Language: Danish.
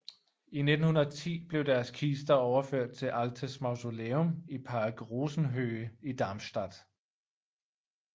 I 1910 blev deres kister overført til Altes Mausoleum i Park Rosenhöhe i Darmstadt